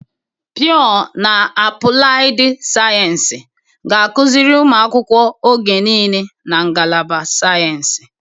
Pịọ na apụlaịdị sayensị ga-akụziri ụmụ akwụkwọ oge niile na ngalaba sayensị.